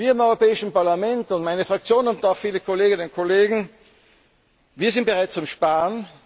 Wir im Europäischen Parlament, meine Fraktion und viele Kolleginnen und Kollegen, sind bereit zum Sparen.